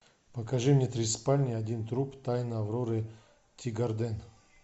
покажи мне три спальни один труп тайны авроры тигарден